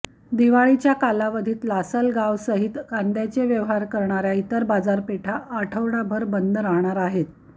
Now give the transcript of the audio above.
दिवाळीच्या कालावधीत लासलगावसहित कांद्याचे व्यवहार करणाऱ्या इतर बाजारपेठा आठवडाभर बंद राहणार आहेत